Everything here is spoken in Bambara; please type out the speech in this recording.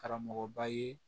Karamɔgɔba ye